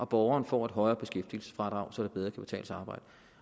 borgerne får et højere beskæftigelsesfradrag så det bedre kan betale sig at arbejde